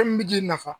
Fɛn min bɛ ji nafa